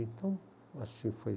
Então, assim foi.